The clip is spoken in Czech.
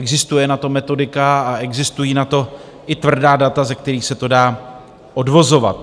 Existuje na to metodika a existují na to i tvrdá data, ze kterých se to dá odvozovat.